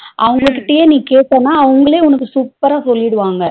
அவங்க கிட்டயே நீ கேட்டன அவங்களே உனக்கு super ரா சொல்லிருவாங்க